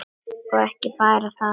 Og ekki bara það: